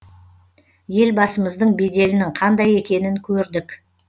елбасымыздың беделінің қандай екенін көрдік